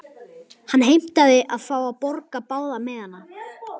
Hann heimtaði að fá að borga báða miðana.